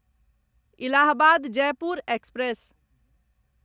Allahabad Jaipur express